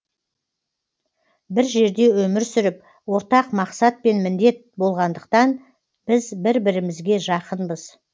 бір жерде өмір сүріп ортақ мақсат пен міндет болғандықтан біз бір бірімізге жақынбыз